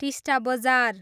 टिस्टा बजार